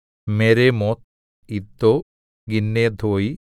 മെരേമോത്ത് ഇദ്ദോ ഗിന്നെഥോയി